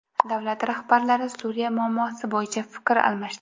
Davlat rahbarlari Suriya muammosi bo‘yicha fikr almashdi.